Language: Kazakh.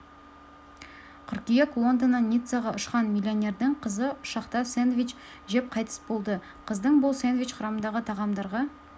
қыркүйек лондоннан ниццаға ұшқан миллионердің қызы ұшақта сэндвич жеп қайтыс болды қыздың бұл сэндвич құрамындағы тағамдарға